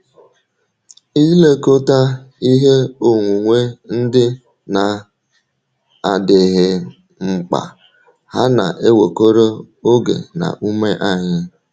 Ilekọta ihe onwunwe ndị na - adịghị mkpa hà na - ewekọrọ oge na ume anyị?